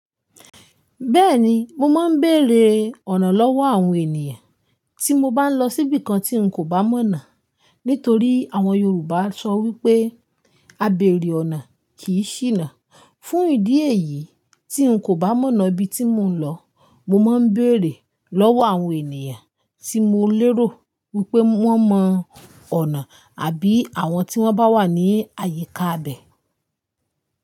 Bẹ́ẹ̀ni, mo máa ń bèrè ọ̀nà lọ́wọ́ àwọn ènìyàn tí mo bá ń lọ sí ibìkan tí n kò bá mọ̀nà nítorí àwọn Yorùbá sọ wípé "Àbẹ̀rẹ̀ ọ̀nà kì í ṣínà". Fún ìdí èyí tí n kò bá mọ̀nà ibi tí mò ń lọ, mo máa ń bèrè lọ́wọ́ àwọn ènìyàn tí mo lérò wípé wón mọ ọ̀nà àbí àwọn tí wón bá wà ní àyíká ibẹ̀.